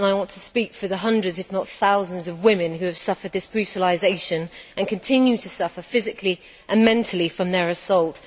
I want to speak for the hundreds, if not thousands, of women who have suffered this brutalisation and continue to suffer physically and mentally from their assault.